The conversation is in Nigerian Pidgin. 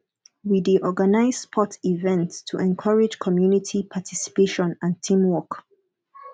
we dey organize sports events to encourage community participation and teamwork